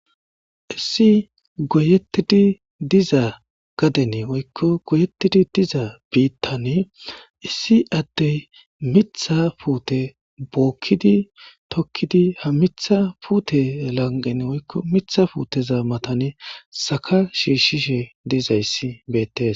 issi goyettidi diza gadene woykko goyeettidi diza biittane issi addey mitha puute bookkidi tokkidi ha mitha puute lanqen woykko mitha puuteza matane saka shiishshishe dizayssi beettes